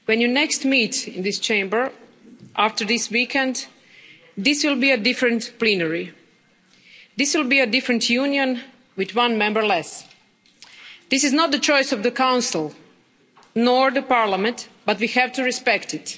Mr President, when the honourable Members next meet in this Chamber after this weekend, this will be a different plenary. This will be a different union, with one member less. This is not the choice of the Council, nor the Parliament, but we have to respect it.